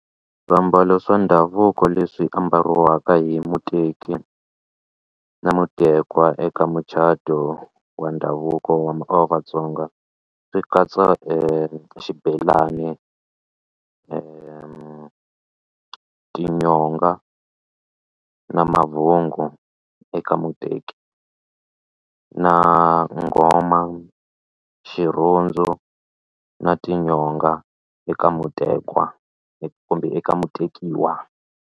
Swiambalo swa ndhavuko leswi ambariwaka hi muteki na mutekwa eka mucato wa ndhavuko wa Vatsonga swi katsa e xibelani tinyonga na mavhongo eka muteki na nghoma xirhundzu na tinyonga eka mutekwa kumbe eka mutekiwa.